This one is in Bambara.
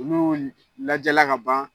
Olu lajɛla ka ban